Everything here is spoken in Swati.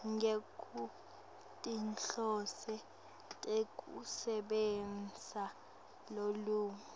ngekwetinhloso tekusebentisa lulwimi